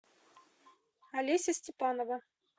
олеся степанова